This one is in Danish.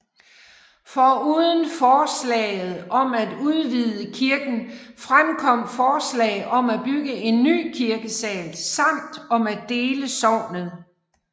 Foruden forslaget om at udvide kirken fremkom forslag om at bygge en ny kirkesal samt om at dele sognet